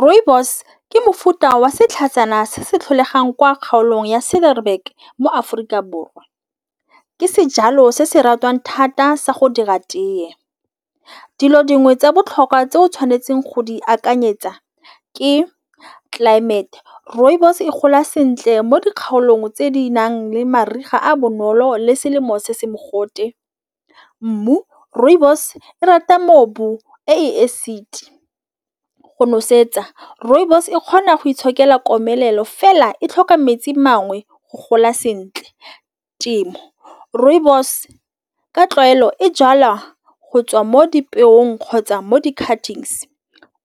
Rooibos ke mofuta wa setlhatsana se se tlholegang kwa kgaolong ya shebang mo Aforika Borwa. Ke sejalo se se ratwang thata sa go dira teye dilo dingwe tsa botlhokwa tse o tshwanetseng go di akanyetsa ke tlelaemete. Rooibos e gola sentle mo dikgaolong tse di nang le mariga a bonolo le selemo se se mogote. Mmu rooibos e rata mobu e acid, go nosetsa rooibos e kgona go itshokela komelelo fela e tlhoka metsi mangwe go gola sentle, temo rooibos ka tlwaelo e jalwa go tswa mo dipelong kgotsa mo .